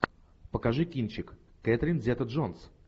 покажи кинчик кэтрин зета джонс